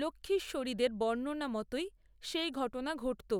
লক্ষ্মীশ্বরীদের বর্ণনা মতোই, সেই ঘটনা ঘটত